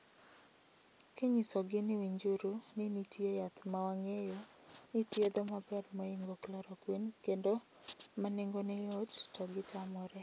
Kinyisogi ni winjuru ni nitie yath mowangeyo ni thietho maber mohingo chloroquine kendo manengone yot, togitamoree.